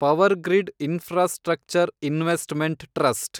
Powergrid infrastructure investment trust